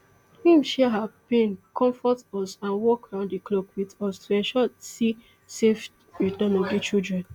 im share our pain conmfort us and work round di clock wit us to ensure si safe return of di children